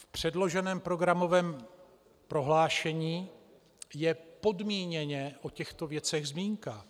V předloženém programovém prohlášení je podmíněně o těchto věcech zmínka.